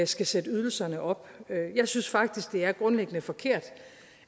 skal sætte ydelserne op jeg synes faktisk at det grundlæggende er forkert